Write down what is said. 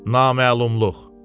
Naməlumluq.